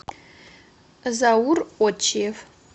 заур отчиев